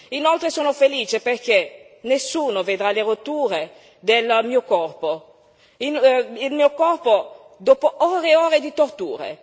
Inoltre, sono felice perché nessuno vedrà le rotture del mio corpo, il mio corpo dopo ore e ore di torture.